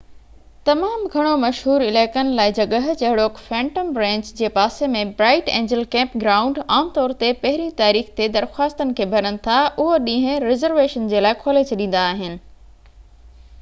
تمام گهڻو مشهور علائقن لاءِ جڳهہ جهڙوڪ فينٽم رينچ جي پاسي ۾ برائيٽ اينجل ڪيمپ گرائونڊ عام طور تي پهرين تاريخ تي درخواستن کي ڀرن ٿا اهو ڏينهن رزرويشن جي لاءِ کولي ڇڏيندا آهن